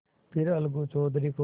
फिर अलगू चौधरी को